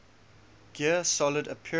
gear solid appearances